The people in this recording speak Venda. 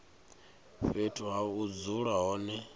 fhethu ha u dzula hone